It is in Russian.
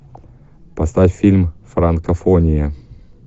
поставь фильм франкофония